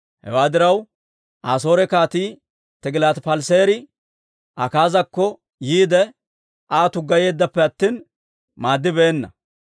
Hewaa diraw, Asoore Kaatii Tigilaati-Paleseeri Akaazakko yiide, Aa tuggayeeddappe attina maaddibeenna.